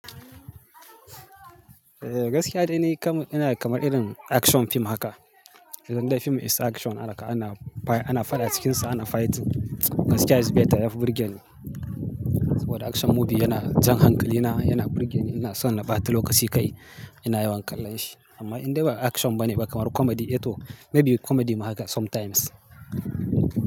Eh gaskiya dai ni kamar ina kamar irin action fim haka. Gwanda fim is action haka ana, ana fada cikinsa ana fighting. Gaskiya is better yafi burge ni. Saboda action movie yana jan hankali, yana, yana burge ni. Ina son na bata lokaci kai. Ina yawan kallon shi. Amma in dai ba action ba ne ba kamar comedy, eh to may be comedy ma haka sometimes.